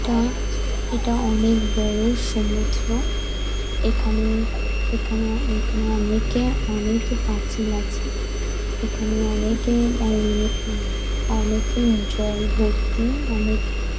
এটা-আ এটা অনেক বড় সমুদ্র । এখানেএখানেএখানে অনেকে অনেক পাঁচিল আছে । এখানে অনেকে অনেকে জল ভর্তি অনেক --